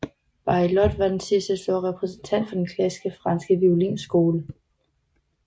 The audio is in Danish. Baillot var den sidste store repræsentant for den klassiske franske violinskole